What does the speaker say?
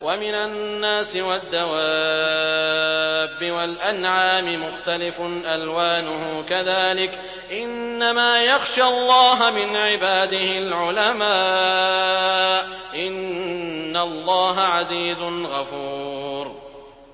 وَمِنَ النَّاسِ وَالدَّوَابِّ وَالْأَنْعَامِ مُخْتَلِفٌ أَلْوَانُهُ كَذَٰلِكَ ۗ إِنَّمَا يَخْشَى اللَّهَ مِنْ عِبَادِهِ الْعُلَمَاءُ ۗ إِنَّ اللَّهَ عَزِيزٌ غَفُورٌ